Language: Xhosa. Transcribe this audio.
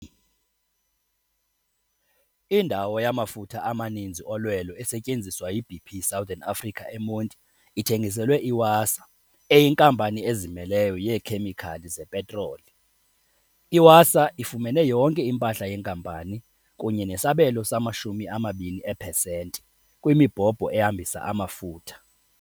Indawo yamafutha amaninzi olwelo esetyenziswa yi-BP Southern Africa eMonti ithengiselwe i-Wasaa, eyinkampani ezimeleyo yeekhemikhali zepetroli. I-Wasaa ifumene yonke impahla yenkampani kunye nesabelo se-20 eepesenti kwimibhobho ehambisa amafutha.